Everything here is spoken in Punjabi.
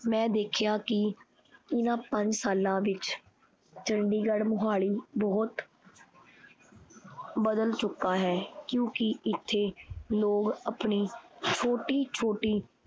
ਮੈਂ ਦੇਖਿਆ ਕੀ ਓਹਨਾ ਪੰਜ ਸਾਲਾਂ ਵਿਚ ਚੰਡੀਗੜ੍ਹ, ਮੋਹਾਲੀ ਬਹੁਤ ਬਦਲ ਚੁੱਕਾ ਹੈ ਕਿਉਂਕਿ ਇਥੇ ਲੋਗ ਆਪਣੀ ਛੋਟੀ-ਛੋਟੀ